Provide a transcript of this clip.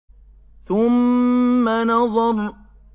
ثُمَّ نَظَرَ